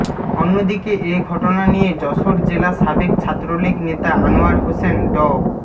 অন্যদিকে এ ঘটনা নিয়ে যশোর জেলা সাবেক ছাত্রলীগ নেতা আনোয়ার হোসেন ড